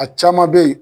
A caman bɛ yen